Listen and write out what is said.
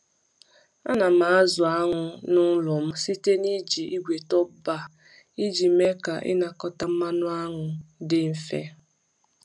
M na-azụ anụ n’ụlọ m site n’iji igbe top-bar iji mee ka ịnakọta mmanụ anụ dị mfe.